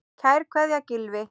Kær kveðja, Gylfi.